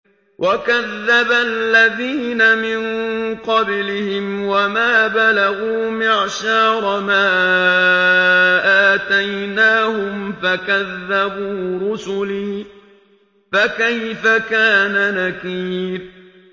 وَكَذَّبَ الَّذِينَ مِن قَبْلِهِمْ وَمَا بَلَغُوا مِعْشَارَ مَا آتَيْنَاهُمْ فَكَذَّبُوا رُسُلِي ۖ فَكَيْفَ كَانَ نَكِيرِ